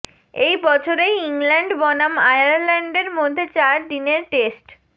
এই বছরেই ইংল্যান্ড বনাম আয়ারল্যান্ডের মধ্যে চার দিনের টেস্ট